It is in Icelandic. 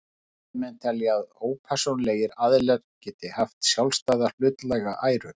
Þessir fræðimenn telja að ópersónulegir aðilar geti haft sjálfstæða hlutlæga æru.